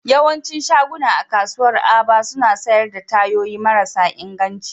Yawancin shaguna a kasuwar Aba suna sayar da tayoyi marasa inganci